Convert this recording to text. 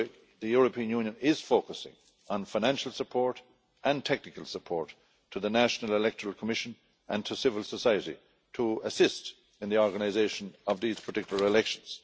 The European Union is focusing on financial support and technical support to the National Electoral Commission and to civil society, to assist in the organisation of these particular elections.